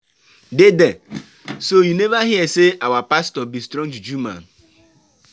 Dey there. So you never hear say our pastor be strong juju man.